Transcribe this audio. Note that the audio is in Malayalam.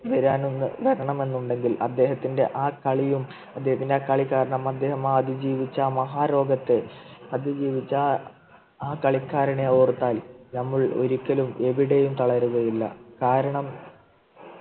വരാൻ വരണമെന്നുണ്ടെങ്കിൽ അദ്ദേഹത്തിൻ്റെ ആ കളിയും അദ്ദേഹത്തിൻ്റെ കളി കാരണം അദ്ദേഹം ജീവിച്ച മഹാരോഗത്തെ അതിജീവിച്ച് ആ കളിക്കാരനെ ഓർത്താൽ നമ്മൾ ഒരിക്കലും എവിടെയും തളരുകയും ഇല്ല കാരണം